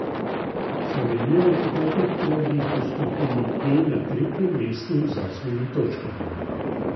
Slovenija je po petih krogih v skupini E na tretjem mestu z osmimi točkami.